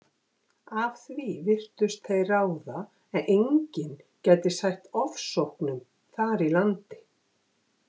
Af því virtust þeir ráða að enginn gæti sætt ofsóknum þar í landi.